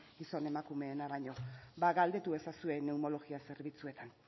gizon emakumeena baino galdetu ezazue neumologia zerbitzuetan